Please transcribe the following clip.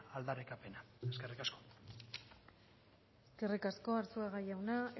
aldarrikapena eskerrik asko eskerrik asko arzuaga jauna